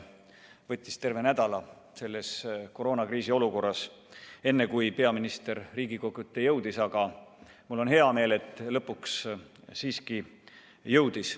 Võttis terve nädala selles koroonakriisi olukorras, enne kui ta Riigikogu ette jõudis, aga mul on hea meel, et ta lõpuks siiski jõudis.